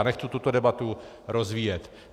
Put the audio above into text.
A nechci tuto debatu rozvíjet.